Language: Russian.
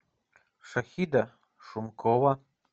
шахида шумкова